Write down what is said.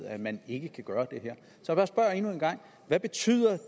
at man ikke kan gøre det her så jeg spørger endnu en gang hvad betyder